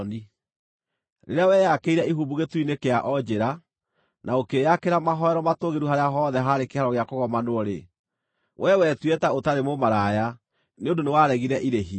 Rĩrĩa weyakĩire ihumbu gĩturi-inĩ kĩa o njĩra, na ũkĩĩakĩra mahooero matũũgĩru harĩa hothe haarĩ kĩhaaro gĩa kũgomanwo-rĩ, we wetuire ta ũtarĩ mũmaraya, nĩ ũndũ nĩwaregire irĩhi.